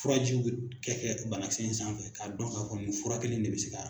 Furajiw bɛ kɛ kɛ banakisɛ in sanfɛ k'a dɔn k'a fɔ nin fura kelen de bɛ se ka.